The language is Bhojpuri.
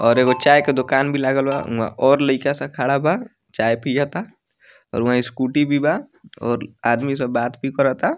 और एगो चाय के दुकान भी लागल बा उहा और लइका सब खड़ा बा चाय पियाता और उहा स्कूटी भी बा और आदमी सब बात भी कराता।